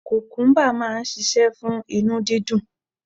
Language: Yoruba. Kukumuba máa ń ṣíṣe fún inú dídùn.